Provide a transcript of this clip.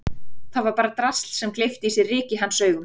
Þetta var bara drasl sem gleypti í sig ryk í hans augum.